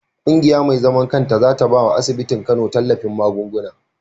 Kungiya me zaman kanta zata bawa asibitin kano tallafin magunguna